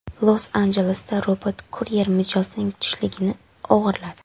Los-Anjelesda robot-kuryer mijozning tushligini o‘g‘irladi.